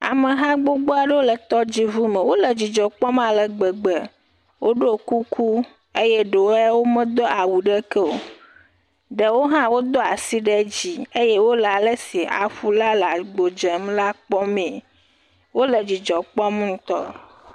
Ameha gbogboa ɖowo le tɔdzi ʋu me, wole dzidzɔ kpɔm alegbegbe, wo ɖo kuku, eye ɖowo ya wo me do awu ɖekeo, ɖewo hã wo do asj ɖe dzi eye wole alesi aƒu la le agbo dzem la kpɔme, wole dzidzɔ kpɔm ŋutɔ.